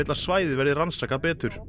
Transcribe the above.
svæðið verði rannsakað betur